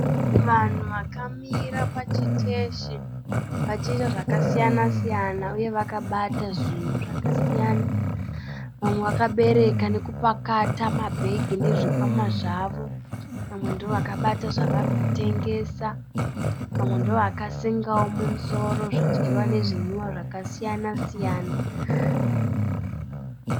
Vanhu vakamira pachiteshi vachiita zvakasiyana siyana uye vakabata zvinhu zvakasiyana. Vamwe vakabereka nekupakata mabhegi nezvikwama zvavo, vamwe ndovakabata zvavari kutengesa, vamwe ndovakasengawo mumusoro zvidyiwa nezvinwiwa zvakasiyana siyana